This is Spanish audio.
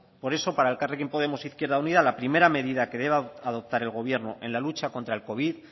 por eso para elkarrekin podemos izquierda unida la primera medida que debe adoptar el gobierno en la lucha contra el covid